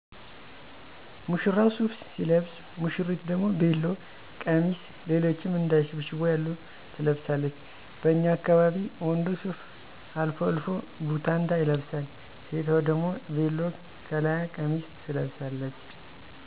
ሙሽራው ሱፍ ሲለብስ ውሽሪት ደሞ ቤሎ፣ ቀሚስ ሌሎችም እንደ ሽብሽቦ ያሉ ትለብሳለች። በኛ አካባቢ ወንዱ ሱፍ አልፎ አልፎ ቡታንታ ይለብሳል። ሴቷ ደሞ ቤሎ ከለያ ቀሚስ ትለቅሳለች